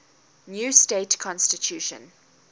new state constitution